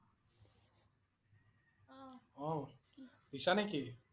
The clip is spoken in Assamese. অ'। দিশা নেকি?